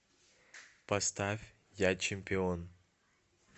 поставь я чемпион